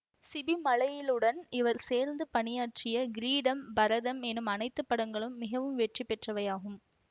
CP மலையிலுடன் இவர் சேர்ந்து பணியாற்றிய கிரீடம் பரதம் என அனைத்து படங்களும் மிகவும் வெற்றி பெற்றவையாகும்